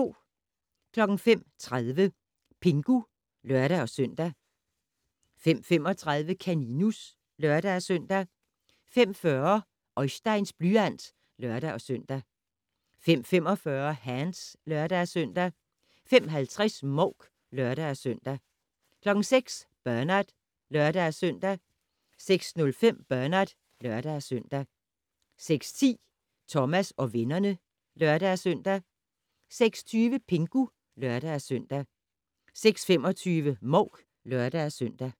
05:30: Pingu (lør-søn) 05:35: Kaninus (lør-søn) 05:40: Oisteins blyant (lør-søn) 05:45: Hands (lør-søn) 05:50: Mouk (lør-søn) 06:00: Bernard (lør-søn) 06:05: Bernard (lør-søn) 06:10: Thomas og vennerne (lør-søn) 06:20: Pingu (lør-søn) 06:25: Mouk (lør-søn)